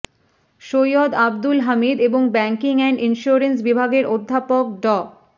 সৈয়দ আব্দুল হামিদ এবং banking and insurance বিভাগের অধ্যাপক ড